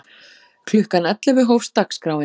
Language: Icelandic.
Klukkan ellefu hófst dagskráin.